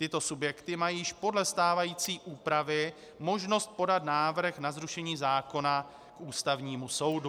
Tyto subjekty mají již podle stávající úpravy možnost podat návrh na zrušení zákona k Ústavnímu soudu.